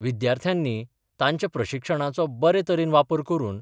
विद्यार्थ्यांनी तांच्या प्रशिक्षणाचो बरे तरेन वापर करून